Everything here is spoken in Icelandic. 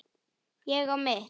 Ég á mitt.